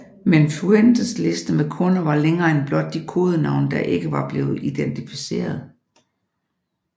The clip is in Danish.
Men Fuentes liste med kunder var længere end blot de kodenavne der ikke var blevet identificeret